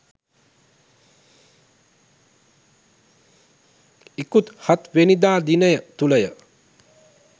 ඉකුත් හත් වැනිදා දිනය තුළය.